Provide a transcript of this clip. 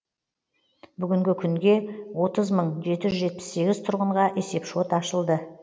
бүгінгі күнге отыз мың жеті жүз жетпіс сегіз тұрғынға есепшот ашылды